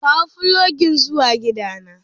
kawo fulogin zuwa gidana.